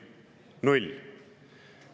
Null!